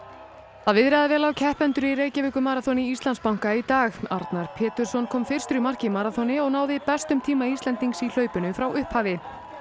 það viðraði vel á keppendur í Reykjavíkurmaraþoni Íslandsbanka í dag Arnar Pétursson kom fyrstur í mark í maraþoni og náði bestum tíma Íslendings í hlaupinu frá upphafi